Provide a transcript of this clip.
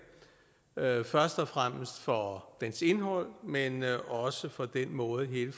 først og fremmest for dens indhold men også for den måde hele